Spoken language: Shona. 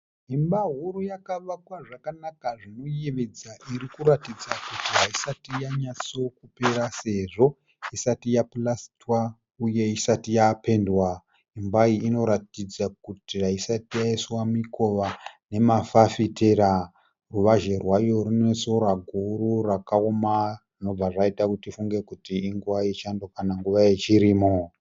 Imba huru yakavakwa zvakanaka zvinoyevedza irikuratidza kuti haisati yanyatsopera sezvo isati yapurasitwa uye isati yapendwa. Imba iyi inoratidza kuti haisati yaiswa mikova nemafafitera. Ruvazhe rwayo runesora guru rakaoma zvinobva zvaita tifunge kuti inguva yechando kana nguva yechirimo.